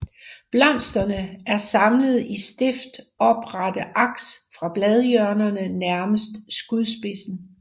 Blomsterne er samlet i stift oprette aks fra bladhjørnerne nærmest skudspidsen